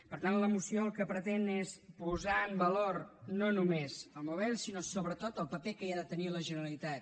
per tant la moció el que pretén és posar en valor no només el mobile sinó sobretot el paper que hi ha de tenir la generalitat